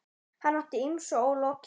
Hann átti ýmsu ólokið.